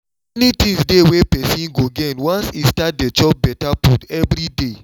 many things dey wey persom go gain once e start dey chop better food every day